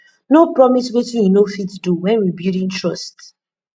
no promise wetin yu no fit do wen rebuilding trust